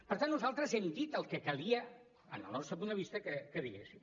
per tant nosaltres hem dit el que calia en el nostre punt de vista que diguéssim